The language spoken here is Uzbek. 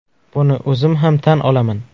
Buni o‘zim ham tan olaman.